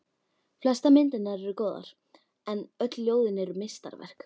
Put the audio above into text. Flestar myndirnar eru góðar, en öll ljóðin eru meistaraverk.